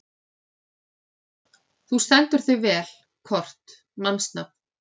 Þú stendur þig vel, Kort (mannsnafn)!